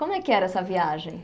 Como é que era essa viagem?